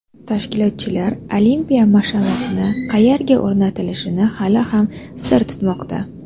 Tashkilotchilar olimpiya mash’alasi qayerga o‘rnatilishini hali ham sir tutmoqda.